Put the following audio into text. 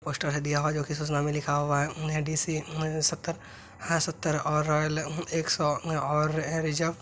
Poster है दिया हुआ है जो की सूचना में लिखा हुआ है अम्म डी.सी. अम्म सत्तर हां सत्तर और रॉयल अम्म एक सौ और रिजर्व --